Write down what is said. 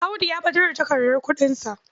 Audu ya ɓatar da takardar kuɗinsa.